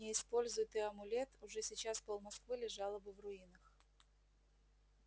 не используй ты амулет уже сейчас пол-москвы лежало бы в руинах